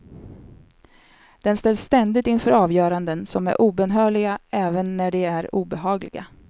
Den ställs ständigt inför avgöranden som är obönhörliga även när de är obehagliga.